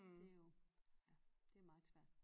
Det jo det meget svært